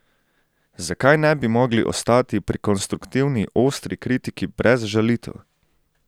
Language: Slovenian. Zakaj ne bi mogli ostati pri konstruktivni ostri kritiki brez žalitev?